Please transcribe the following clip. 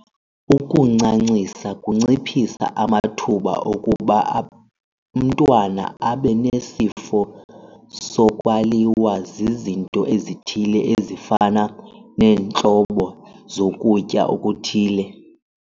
Ukuncancisa kunciphisa amathuba okuba umntwana abe nesifo sokwaliwa zizinto ezithile ezifana neentlobo zokutya okuthile.